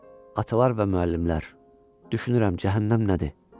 Atalar və müəllimlər, düşünürəm cəhənnəm nədir?